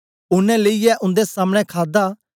ओनें लेईयै उन्दे सामने खादा